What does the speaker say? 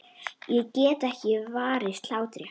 Ég get ekki varist hlátri.